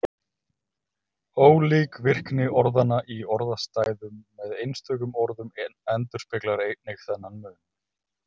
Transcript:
Ólík virkni orðanna í orðastæðum með einstökum orðum endurspeglar einnig þennan mun.